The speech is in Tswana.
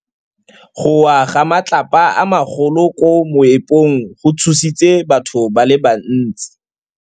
Go wa ga matlapa a magolo ko moepong go tshositse batho ba le bantsi.